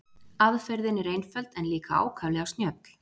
Aðferðin er einföld en líka ákaflega snjöll.